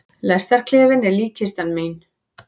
Lestarklefinn er líkkistan mín.